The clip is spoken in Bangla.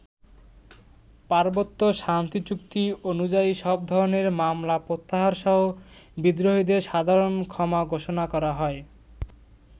পার্বত্য শান্তিচুক্তি অনুযায়ী সব ধরনের মামলা প্রত্যাহারসহ বিদ্রোহীদের সাধারণ ক্ষমা ঘোষণা করা হয়।